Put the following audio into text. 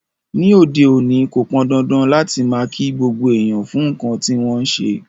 Ní òde òní, ko pọ́ndándán láti máa ki gbogbo èèyàn fún nkán ti wọn n ṣe.